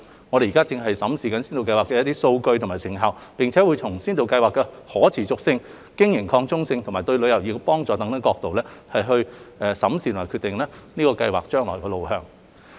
我們正審視先導計劃的數據及成效，並會從先導計劃的可持續性、經營擴充性及對旅遊業的幫助等角度，決定計劃的未來路向。